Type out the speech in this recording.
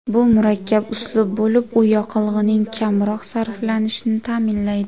Bu murakkab uslub bo‘lib, u yoqilg‘ining kamroq sarflanishini ta’minlaydi.